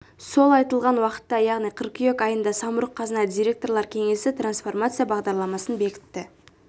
сол айтылған уақытта яғни қыркүйек айында самұрық-қазына директорлар кеңесі трансформация бағдарламасын бекітті